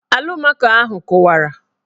Alụmaco ahụ kụwara